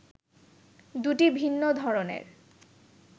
দুটি ভিন্ন ধরনের